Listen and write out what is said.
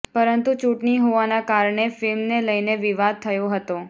પરંતુ ચૂંટણી હોવાના કારણે ફિલ્મને લઈને વિવાદ થયો હતો